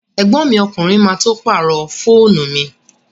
Ẹ̀gbọ́n mi ọkùnrin má tó pàrọ̀ fóònù mi